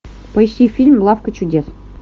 поищи фильм лавка чудес